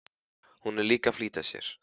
Hún er líka að flýta sér.